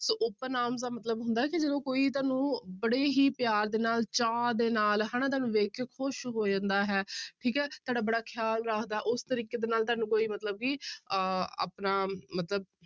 ਸੋ open arms ਦਾ ਮਤਲਬ ਹੁੰਦਾ ਹੈ ਕਿ ਜਦੋਂ ਕੋਈ ਤੁਹਾਨੂੰ ਬੜੇ ਹੀ ਪਿਆਰ ਦੇ ਨਾਲ ਚਾਅ ਦੇ ਨਾਲ ਹਨਾ ਤੁਹਾਨੂੰ ਵੇਖ ਕੇ ਖ਼ੁਸ਼ ਹੋ ਜਾਂਦਾ ਹੈ ਠੀਕ ਹੈ ਤੁਹਾਡਾ ਬੜਾ ਖਿਆਲ ਰੱਖਦਾ, ਉਸ ਤਰੀਕੇ ਦੇ ਨਾਲ ਤੁਹਾਨੂੰ ਕੋਈ ਮਤਲਬ ਕਿ ਅਹ ਆਪਣਾ ਮਤਲਬ